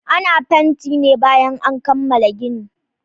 Ana fanti ne bayan an kammala gini